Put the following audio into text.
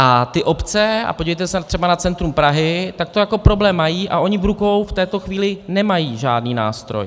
A ty obce - a podívejte se třeba na centrum Prahy, tak to jako problém mají a oni v rukou v této chvíli nemají žádný nástroj.